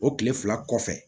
O kile fila kɔfɛ